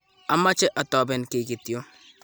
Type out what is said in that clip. ameche atoben kiy ktyo